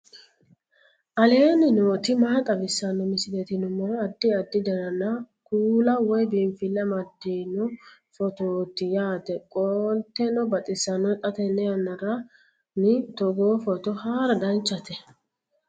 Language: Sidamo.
aleenni nooti maa xawisanno misileeti yinummoro addi addi dananna kuula woy biinfille amaddino footooti yaate qoltenno baxissannote xa tenne yannanni togoo footo haara danchate